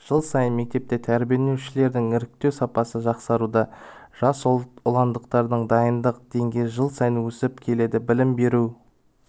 жыл сайын мектепте тәрбиеленушілерді іріктеу сапасы жақсаруда жасұландықтардың дайындық деңгейі жыл сайын өсіп келеді білім беру